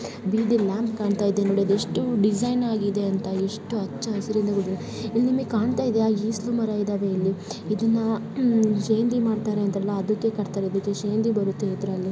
ಬೀದಿ ಲ್ಯಾಂಪ್ ಕಾಣ್ತಾ ಇದೆ ನೋಡಿ ಅದು ಎಷ್ಟು ಡಿಸೈನ್ ಆಗಿದೆ ಅಂತ ಎಷ್ಟು ಹಚ್ಚ ಹಸಿರಿಂದ ಕೂಡಿದೆ ಇಲ್ ನಿಮಗೆ ಕಾಣ್ತಾ ಇದಿಯಾ ಈಚಲು ಮರ ಇದಾವೆ ಇಲ್ಲಿ. ಇದನ್ನ ಉಮ್ ಶೇಂದಿ ಮಾಡ್ತಾರೆ ಅಂತರಲ್ಲ ಅದುಕ್ಕೆ ಕಟ್ತಾರೆ ಇದು ಶೇಂದಿ ಬರುತ್ತೆ ಇದ್ರಲ್ಲಿ --